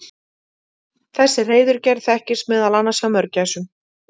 þessi hreiðurgerð þekkist meðal annars hjá mörgæsum